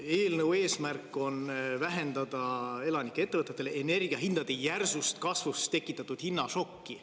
Eelnõu eesmärk on vähendada elanikele ja ettevõtetele energiahindade järsust kasvust tekitatud hinnašokki.